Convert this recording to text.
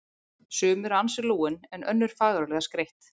Sum eru ansi lúin en önnur fagurlega skreytt.